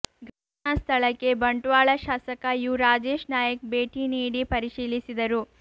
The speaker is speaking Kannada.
ಘಟನಾ ಸ್ಥಳಕ್ಕೆ ಬಂಟ್ವಾಳ ಶಾಸಕ ಯು ರಾಜೇಶ್ ನಾಯ್ಕ್ ಭೇಟಿ ನೀಡಿ ಪರಿಶೀಲಿಸಿದರು